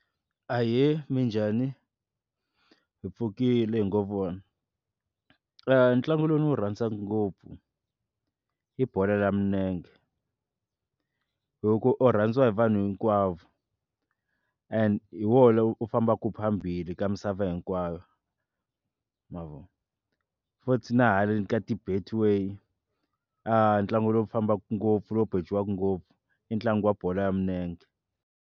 Ahee, minjhani? Hi pfukile hi ngo vona ntlangu lowu ndzi wu rhandzaka ngopf i bolo ya milenge hi ku u rhandziwa hi vanhu hinkwavo and hi wona lowu fambaku phambili ka misava hinkwayo ma vo futhi na haleni ka ti-Betway a ntlangu lowu fambaka ngopfu lowu bejiwaka ngopfu i ntlangu wa bolo ya milenge.